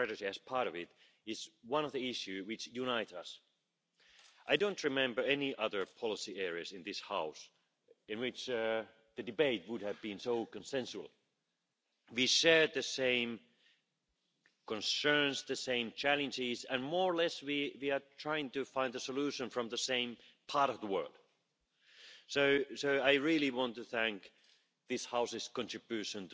that it must have been one of the rare debates where all the Members of this House are of the same opinion, no matter for which reason or from which political party they belong to, and I also want to thank you for this very fruitful discussion.